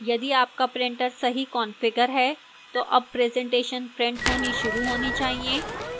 यदि आपका printer सही कंफिगर है तो अब presentation printer होनी शुरू होनी चाहिए